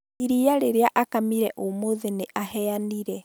Iria rĩrĩa akamire ũmũthĩ nĩaheanire